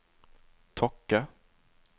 Tokke